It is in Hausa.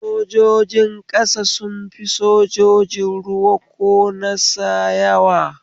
Sojojin ƙasa sun fi sajojin ruwa ko nasa yawa